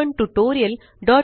या ट्यूटोरियल